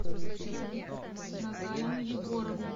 наталью егоровну